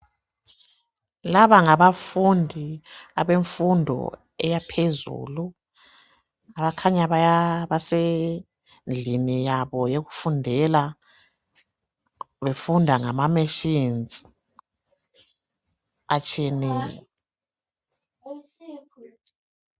Laba ngabafundi abemfundo eyaphezulu bakhanya basendlini yabo yokufundela befunda ngama machines atshiyeneyo.